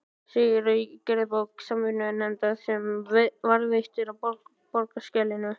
segir í gerðabók Samvinnunefndar, sem varðveitt er á Borgarskjalasafni.